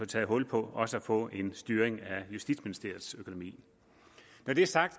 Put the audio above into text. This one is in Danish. taget hul på også at få en styring af justitsministeriets økonomi når det er sagt